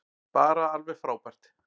Bara alveg frábært.